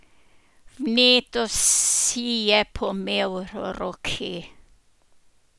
Vneto si je pomel roke.